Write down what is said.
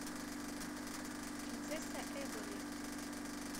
принцесса эболи